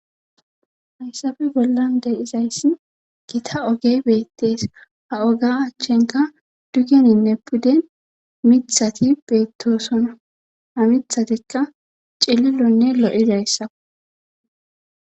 Hayssappe bollan de'izayssi gita oge beettees ha oga achchenka dugeninne puden mithati beettoosona ha mithatikka cililonne lo7idayssa.